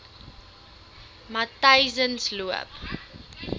matyzensloop